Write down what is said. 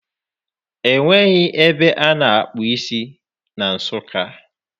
Enweghị ebe ana akpụ isi na Nsụka.